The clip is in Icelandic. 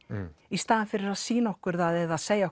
í staðinn fyrir að sýna okkur það eða segja